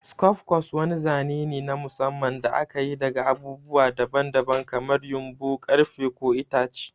Skufcos wani zane ne na musamman da aka yi daga abubuwa daban-daban kamar ƴumbu, ƙarfe, ko itace.